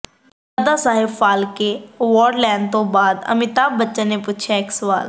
ਦਾਦਾ ਸਾਹਿਬ ਫਾਲਕੇ ਐਵਾਰਡ ਲੈਣ ਤੋਂ ਬਾਅਦ ਅਮਿਤਾਭ ਬੱਚਨ ਨੇ ਪੁੱਛਿਆ ਇੱਕ ਸਵਾਲ